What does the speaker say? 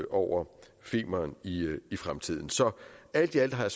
over femern i fremtiden så alt i alt har